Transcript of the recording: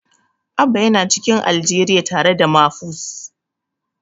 Abba yana cikin Aljeriya tare da Mafus.